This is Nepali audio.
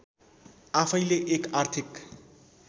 आफैँले एक आर्थिक